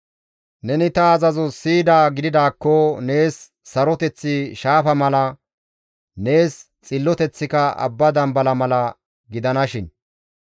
Neni ta azazo siyidaa gididaakko, nees saroteththi shaafa mala, nees xilloteththika abba dambala mala gidanashin.